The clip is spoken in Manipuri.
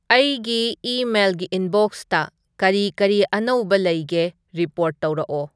ꯑꯩꯒꯤ ꯏꯃꯦꯜꯒꯤ ꯏꯟꯕꯣꯛꯁꯇ ꯀꯔꯤ ꯀꯔꯤ ꯑꯅꯧꯕ ꯂꯩꯒꯦ ꯔꯤꯄꯣꯔꯠ ꯇꯧꯔꯛꯑꯣ